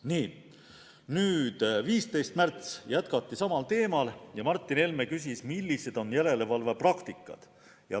15. märtsil jätkati samal teemal ja Martin Helme küsis, millised on järelevalve praktikad.